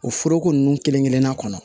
O foroko ninnu kelen kelenna kɔnɔ